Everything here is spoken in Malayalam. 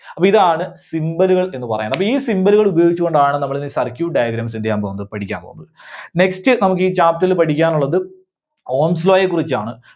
അപ്പോ ഇതാണ് Symbol കൾ എന്ന് പറയുന്നത്. അപ്പോ ഈ Symbol കൾ ഉപയോഗിച്ചുകൊണ്ടാണ് നമ്മളിന്ന് circuit diagram എന്ത് ചെയ്യാൻ പോകുന്നത്, പഠിക്കാൻ പോകുന്നത്. Next നമുക്ക് ഈ chapter ല് പഠിക്കാനുള്ളത് Ohm's Law യെ കുറിച്ചാണ്.